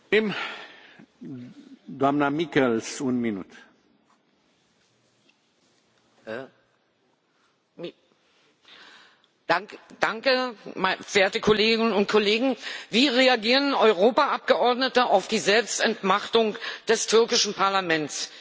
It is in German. Herr Präsident, verehrte Kolleginnen und Kollegen! Wie reagieren Europaabgeordnete auf die Selbstentmachtung des türkischen Parlaments? Der verurteilte türkische Journalist Can Dündar beschrieb sein Land